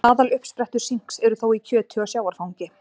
Aðaluppsprettur sinks eru þó í kjöti og sjávarfangi.